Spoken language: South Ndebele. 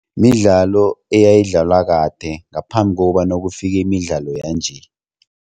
Midlalo eyayidlalwa kade ngaphambi kokobana kufike imidlalo yanje.